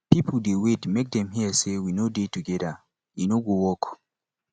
people dey wait make dem hear say we no dey together e no go work